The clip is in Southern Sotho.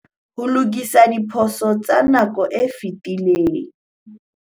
Ho lokisa diphoso tsa nako e fetileng